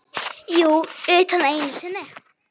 Jú, utan einu sinni.